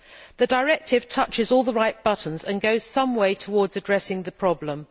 The directive presses all the right buttons and goes some way towards addressing the problem.